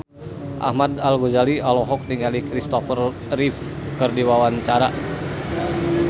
Ahmad Al-Ghazali olohok ningali Christopher Reeve keur diwawancara